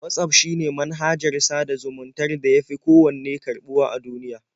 Watsaf shine manhajar sada zumuntar da ya fi kowanne karɓuwa a duniya.